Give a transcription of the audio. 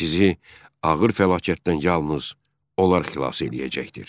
Sizi ağır fəlakətdən yalnız onlar xilas eləyəcəkdir.